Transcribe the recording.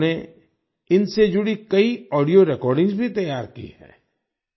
इन्होंने इनसे जुड़ी कई ऑडियो रेकॉर्डिंग्स भी तैयार की हैं